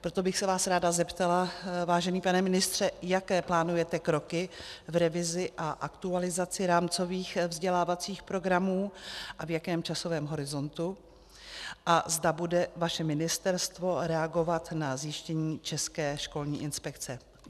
Proto bych se vás ráda zeptala, vážený pane ministře, jaké plánujete kroky v revizi a aktualizaci rámcových vzdělávacích programů a v jakém časovém horizontu a zda bude vaše ministerstvo reagovat na zjištění České školní inspekce.